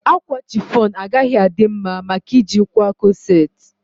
Akwa chiffon agaghị adị mma maka ị ji kwaa kọset